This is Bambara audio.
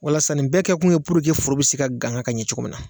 Walasa nin bɛɛ kɛkun ye foro be se ka gaŋa ka ɲɛ cogo min na.